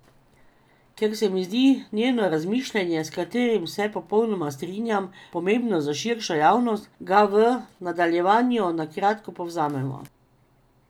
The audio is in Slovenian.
Ker se mi zdi njeno razmišljanje, s katerim se popolnoma strinjam, pomembno za širšo javnost, ga v nadaljevanju na kratko povzemam.